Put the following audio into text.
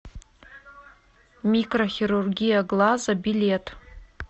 микрохирургия глаза билет